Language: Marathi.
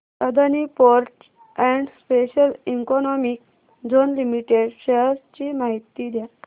Adani ports and special economic zone limited shares ची माहिती द्या